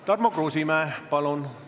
Tarmo Kruusimäe, palun!